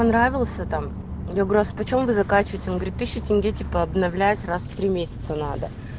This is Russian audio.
понравился там я говорю а по чем вы заканчиваете он говорит тысячу тенге типа обновлять раз в три месяца надо